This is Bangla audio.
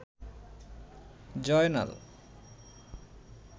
জয়নাল